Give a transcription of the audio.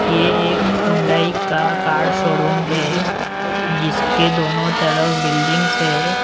यह एक होंडाई का कार शोरूम है जिसके दोनों तरफ बिल्डिंग्स है।